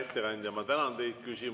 Hea ettekandja, ma tänan teid!